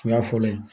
O y'a fɔlɔ ye